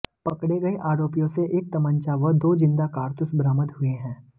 पकड़े गए आरोपियों से एक तमंचा व दो जिंदा कारतूस बरामद हुए हैं